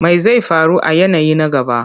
Me zai faru a yanayi na gaba?